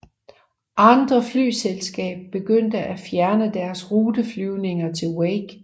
Andre flyselskaber begyndte at fjerne deres ruteflyvninger til Wake